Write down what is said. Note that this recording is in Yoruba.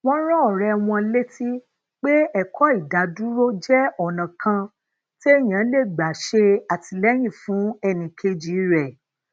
wón rán òré wọn létí pé ekó idádúró jé ònà kan téèyàn lè gbà ṣè àtìléyìn fún ẹnì kejì rè